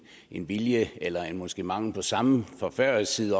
en vilje eller måske mangel på samme fra færøsk side